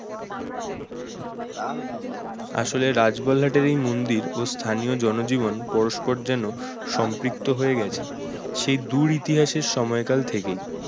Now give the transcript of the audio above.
আসলে রাজবলহাট এর এই মন্দির ও স্থানীয় জনজীবন পরস্পর যেন সম্পৃক্ত হয়ে গেছে সেই দূর ইতিহাসের সময়কাল থেকেই